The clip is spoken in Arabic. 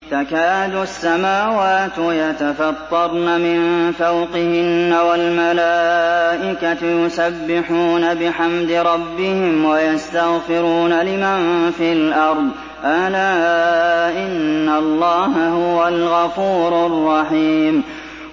تَكَادُ السَّمَاوَاتُ يَتَفَطَّرْنَ مِن فَوْقِهِنَّ ۚ وَالْمَلَائِكَةُ يُسَبِّحُونَ بِحَمْدِ رَبِّهِمْ وَيَسْتَغْفِرُونَ لِمَن فِي الْأَرْضِ ۗ أَلَا إِنَّ اللَّهَ هُوَ الْغَفُورُ الرَّحِيمُ